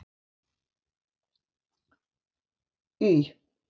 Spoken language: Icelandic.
Y